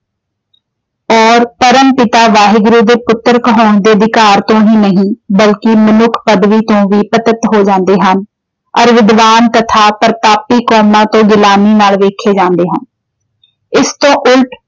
ਅਤੇ ਪਰਮ ਪਿਤਾ ਵਾਹਿਗੁਰੂ ਦੇ ਪੁੱਤਰ ਕਹਾਉਣ ਦੇ ਅਧਿਕਾਰ ਤੋਂ ਹੀ ਨਹੀਂ ਬਲਕਿ ਮਨੁੱਖ ਪਦਵੀ ਤੋਂ ਵੀ ਪਤਿਤ ਹੋ ਜਾਂਦੇ ਹਨ। ਅਤੇ ਵਿਦਵਾਨ ਤਥਾ ਪ੍ਰਤਾਪੀ ਕੌਮਾਂ ਤੋਂ ਗੁਲਾਮੀ ਨਾਲ ਵੇਖੇ ਜਾਂਦੇ ਹਨ। ਇਸ ਤੋਂ ਉਲਟ